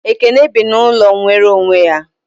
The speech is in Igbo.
Ekene bi n'ụlọ nwere onwe ya